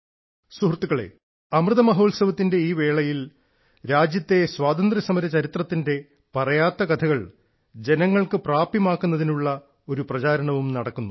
സുഹൃത്തുക്കളെ അമൃത മഹോത്സവത്തിന്റെ ഈ വേളയിൽ രാജ്യത്തെ സ്വാതന്ത്ര്യ സമര ചരിത്രത്തിന്റെ പറയാത്ത കഥകൾ ജനങ്ങൾക്ക് പ്രാപ്യമാക്കുന്നതിനുള്ള ഒരു പ്രചാരണവും നടക്കുന്നു